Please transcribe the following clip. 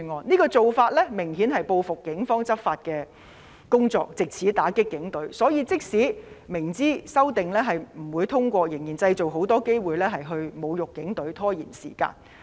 這種做法明顯是報復警方的執法工作，藉此打擊警隊，所以即使明知修正案不會獲得通過，他們仍然要製造很多機會侮辱警隊，拖延時間。